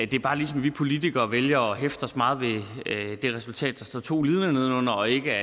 det er bare ligesom vi politikere vælger at hæfter os meget ved det resultat der står to linje nedenunder og ikke